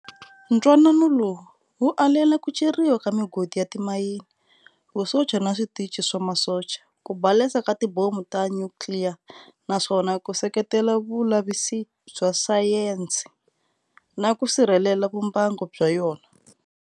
Ntwanano lowu wu alela kuceriwa ka migodi ya timayini, Vusocha na switichi swa masocha, kubalesa tibhomu ta Nyukliya, naswona wu seketela vulavisisi bya Sayensi, naku sirhelela vumbango bya yona.